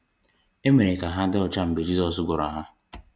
E mere ka ha dị ọcha mgbe Jizọs gwọrọ ha.